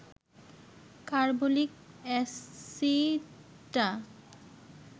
carbolic অ্যাসিডটা